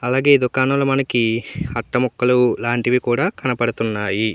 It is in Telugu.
అలాగే దుకాణాలో మనకి అట్ట ముక్కలు లాంటివి కూడా కనపడుతున్నాయి.